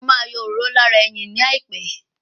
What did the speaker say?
Mo ma yọ òróró lára ẹyìn ní àìpẹ́